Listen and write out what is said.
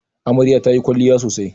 Amarya ta yi kwalliya sosai